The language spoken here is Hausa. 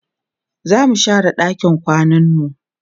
zamu share ɗakin kwananmu